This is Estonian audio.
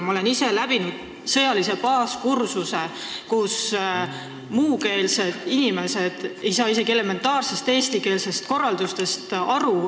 Ma olen ise läbi teinud sõjalise baaskursuse, kus muukeelsed inimesed ei saanud isegi elementaarsest eestikeelsest korraldusest aru.